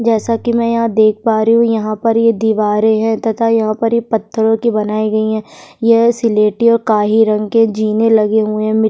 जैसा कि मैं यहां देख पा रही हूँ यहाँ पर ये दीवारें हैं तथा यहाँ पर ये पत्थरों की बनाई गई हैं यह सिलेटी और काही रंग के जीने लगे हुए हैं मिट --